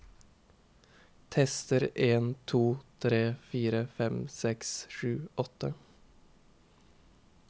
Tester en to tre fire fem seks sju åtte